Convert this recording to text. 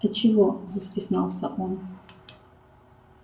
а чего застеснялся он